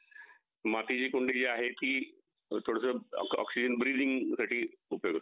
मातीची कुंडी जी आहे ती थोडं थोडं oxygen ब्रिलिंग साठी उपयोगी करतो